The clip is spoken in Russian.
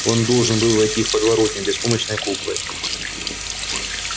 он должен был войти в подворотню беспомощной куклой